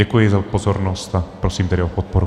Děkuji za pozornost a prosím tedy o podporu.